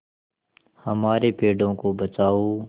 हमारे पेड़ों को बचाओ